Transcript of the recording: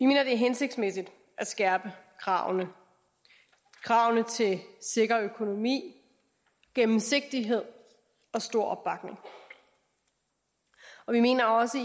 mener det er hensigtsmæssigt at skærpe kravene til sikker økonomi gennemsigtighed og stor opbakning vi mener også